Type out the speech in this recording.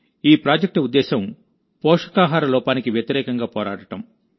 ఈ ప్రాజెక్ట్ ఉద్దేశ్యం పోషకాహార లోపానికి వ్యతిరేకంగా పోరాడటం